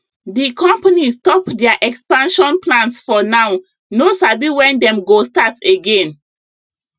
the company stop their expansion plans for now no sabi when dem go start again